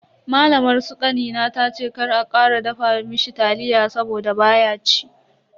Malamar su kanina tace kar a kara dafa mishi taliya saboda baya ci.